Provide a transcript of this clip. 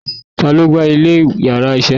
Ta lo gba ilè íyarà iṣẹ?